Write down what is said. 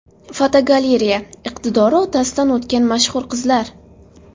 Fotogalereya: Iqtidori otasidan o‘tgan mashhur qizlar.